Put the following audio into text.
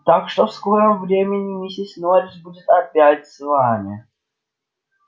так что в скором времени миссис норрис будет опять с вами